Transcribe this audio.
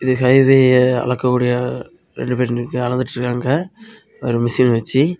ரயில்வேல அளக்கக்கூடிய ரெண்டு பேர் நிக்கிற அளந்துட்டுருக்காங்க ஒரு மிஷின் வச்சு.